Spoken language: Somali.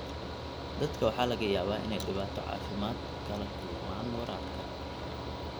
Dadka waxaa laga yaabaa inay dhibaato caafimaad kala kulmaan waraabka.